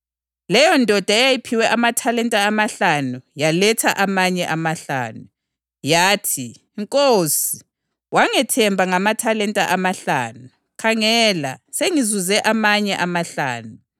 Leyondoda eyayiphiwe amathalenta amahlanu yaletha amanye amahlanu. Yathi, ‘Nkosi, wangethemba ngamathalenta amahlanu. Khangela, sengizuze amanye amahlanu.’